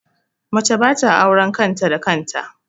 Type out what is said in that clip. Mace ba ta bada auren kan ta da kan ta